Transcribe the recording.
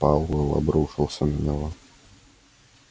пауэлл обрушился на него